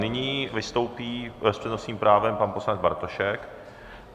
Nyní vystoupí s přednostním právem pan poslanec Bartošek.